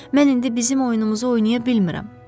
Mən indi bizim oyunumuzu oynaya bilmirəm.